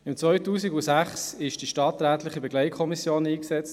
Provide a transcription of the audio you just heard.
Im Jahr 2006 wurde eine stadträtliche Begleitkommission eingesetzt.